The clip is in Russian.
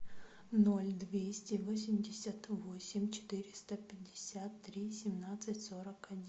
ноль двести восемьдесят восемь четыреста пятьдесят три семнадцать сорок один